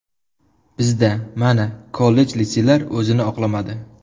Bizda, mana, kollej-litseylar o‘zini oqlamadi.